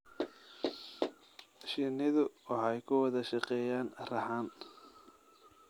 Shinnidu waxay ku wada shaqeeyaan raxan.